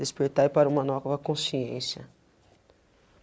Despertai para uma nova consciência.